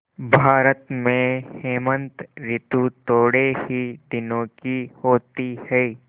भारत में हेमंत ॠतु थोड़े ही दिनों की होती है